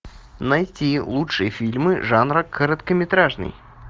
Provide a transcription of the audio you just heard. найти лучшие фильмы жанра короткометражный